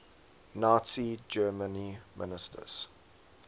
nazi germany ministers